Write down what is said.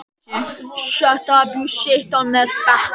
Bara af því að sitja hérna á bekkjunum.